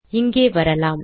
இங்கே வரலாம்